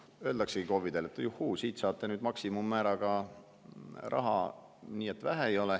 Öeldaksegi KOV‑idele, et juhuu, siit saate nüüd maksimummääraga raha nii et vähe ei ole.